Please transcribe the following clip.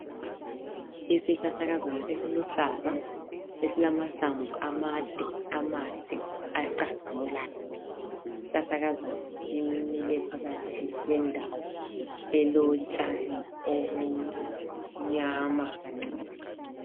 Isihlahlakazana esiluhlaza esilamahlamvu amade amahle acazimulayo, isihlahlakazana simile phakathi kwendawo elotshani obumnyama kancane.